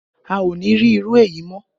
A o ní rí irú èyí mọ́